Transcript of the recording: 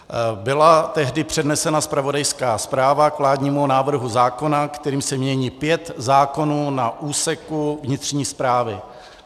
Byla tehdy přednesena zpravodajská zpráva k vládnímu návrhu zákona, kterým se mění pět zákonů na úseku vnitřní správy.